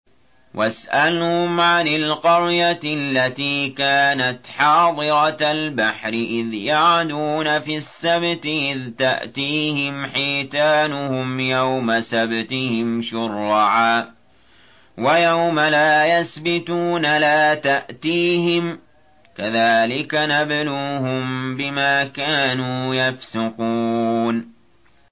وَاسْأَلْهُمْ عَنِ الْقَرْيَةِ الَّتِي كَانَتْ حَاضِرَةَ الْبَحْرِ إِذْ يَعْدُونَ فِي السَّبْتِ إِذْ تَأْتِيهِمْ حِيتَانُهُمْ يَوْمَ سَبْتِهِمْ شُرَّعًا وَيَوْمَ لَا يَسْبِتُونَ ۙ لَا تَأْتِيهِمْ ۚ كَذَٰلِكَ نَبْلُوهُم بِمَا كَانُوا يَفْسُقُونَ